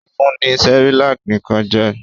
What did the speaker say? Ó fun ní Cerelac nìkan jẹ?